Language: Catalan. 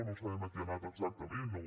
no sabem a què hi ha anat exactament o